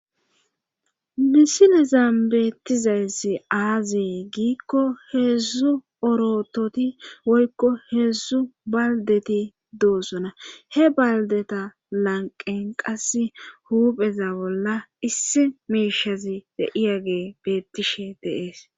misilezan beettizayssi aazi giikko heedzzu orototi woykko heedzzu baldeti doosona he baldeta lanqen qas huupheza bolla issi miishazi be7iyage beettishe deees